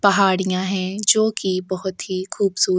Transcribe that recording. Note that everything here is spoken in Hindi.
पहाड़ियां है जोकि बहुत ही खूबसू --